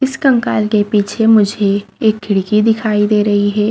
इस कंकाल के पीछे मुझे एक खिड़की दिखाई दे रही है।